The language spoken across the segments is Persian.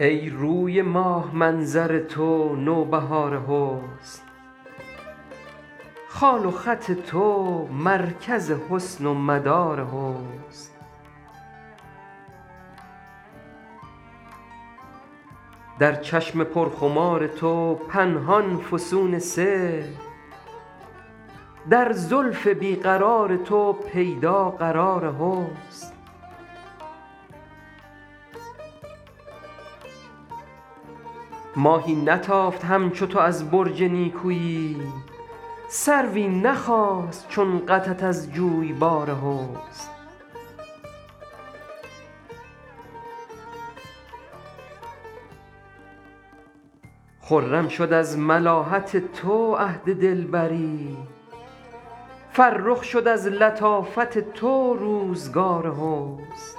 ای روی ماه منظر تو نوبهار حسن خال و خط تو مرکز حسن و مدار حسن در چشم پرخمار تو پنهان فسون سحر در زلف بی قرار تو پیدا قرار حسن ماهی نتافت همچو تو از برج نیکویی سروی نخاست چون قدت از جویبار حسن خرم شد از ملاحت تو عهد دلبری فرخ شد از لطافت تو روزگار حسن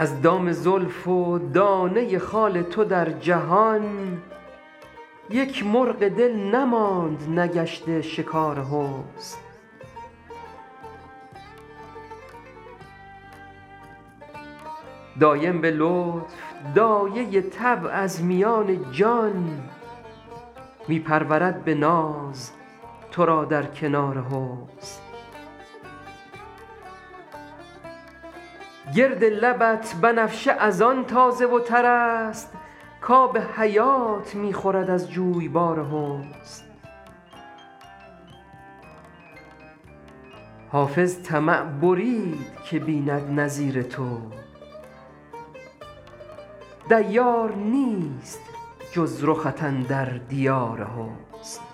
از دام زلف و دانه خال تو در جهان یک مرغ دل نماند نگشته شکار حسن دایم به لطف دایه طبع از میان جان می پرورد به ناز تو را در کنار حسن گرد لبت بنفشه از آن تازه و تر است کآب حیات می خورد از جویبار حسن حافظ طمع برید که بیند نظیر تو دیار نیست جز رخت اندر دیار حسن